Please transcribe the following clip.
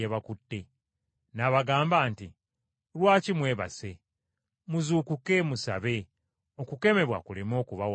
N’abagamba nti, “Lwaki mwebase? Muzuukuke, musabe, muleme kuwangulwa kukemebwa.”